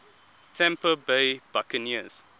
tampa bay buccaneers